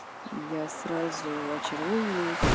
я сразу очаровывываюсь